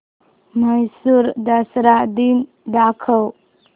म्हैसूर दसरा दिन दाखव